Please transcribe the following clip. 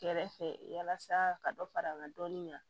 Kɛrɛfɛ yalasa ka dɔ fara an ka dɔnni kan